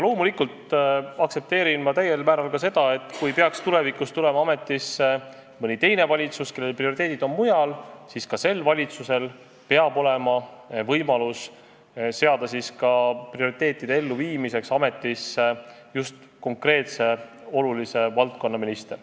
Loomulikult aktsepteerin ma täiel määral seda, et kui tulevikus tuleb ametisse mõni teine valitsus, kelle prioriteedid on mujal, siis ka sel valitsusel peab olema võimalus seada oma prioriteetide elluviimiseks ametisse just konkreetse olulise valdkonna minister.